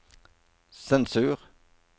sensur